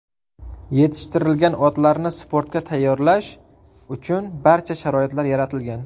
Yetishtirilgan otlarni sportga tayyorlash uchun barcha sharoitlar yaratilgan.